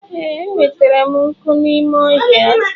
Ee, enwetara m nkụ n'ime ọhịa.